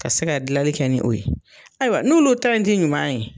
Ka se ka dilanni kɛ ni o ye, ayiwa n'olu ta in tɛ ɲuman ye